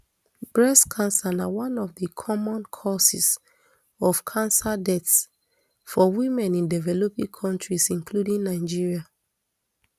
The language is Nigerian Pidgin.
breast cancer na one of di common causes of cancer deaths for women in developing kontris including nigeria